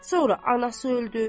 Sonra anası öldü.